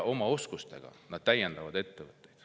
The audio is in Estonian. Oma oskustega nad täiendavad ettevõtteid.